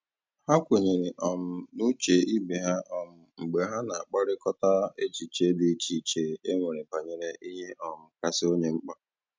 Ha kwenyere um n' uche ibe ha um mgbe ha na a kparịkọta echiche dị iche iche e nwere banyere ihe um kasị onye mkpa